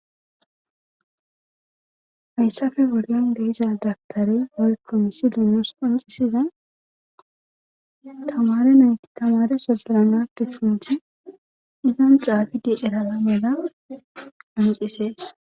hayssafe bolla de'aza dabtare oykko misi linos panxisiza tamare nayti tamare soderanakke sinthi inon xaafidi erala meeda amicisees